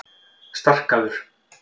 Starkaður